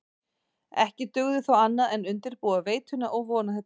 Ekki dugði þó annað en undirbúa veituna og vona hið besta.